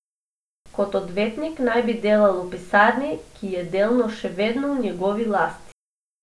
Kot odvetnik naj bi delal v pisarni, ki je delno še vedno v njegovi lasti.